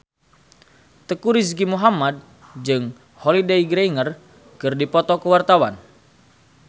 Teuku Rizky Muhammad jeung Holliday Grainger keur dipoto ku wartawan